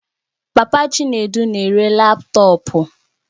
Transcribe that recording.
Papa Chinedu na-ere laptọọpụ